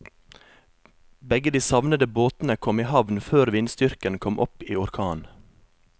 Begge de savnede båtene kom i havn før vindstyrken kom opp i orkan.